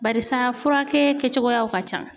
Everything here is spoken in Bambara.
Barisa furakɛ kɛcogoyaw ka can.